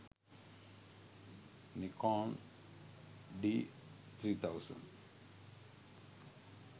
nikon d3000